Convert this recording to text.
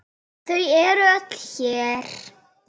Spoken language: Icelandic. Þau eru öll hér.